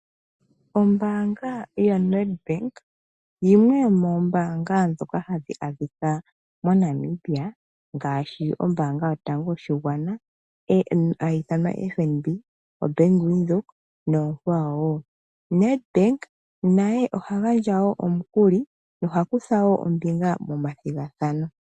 Ombaanga yaNedbank yimwe yomoombaanga ndhoka hadhi adhika moNamibia ngaashi ombaanga yotango yopashigwana hayi ithanwa FNB, oBank Windhoek noonkwa wo. Nedbank naye oha gandja wo omukuli ye oha kutha wo ombiga momathigathano.